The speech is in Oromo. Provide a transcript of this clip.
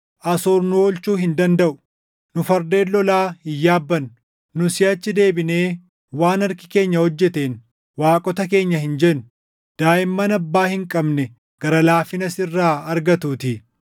Asoor nu oolchuu hin dandaʼu; nu fardeen lolaa hin yaabbannu. Nu siʼachi deebinee, waan harki keenya hojjeteen, ‘Waaqota keenya’ hin jennu; daaʼimman abbaa hin qabne gara laafina sirraa argatuutii.”